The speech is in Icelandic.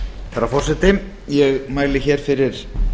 herra forseti ég mæli hér fyrir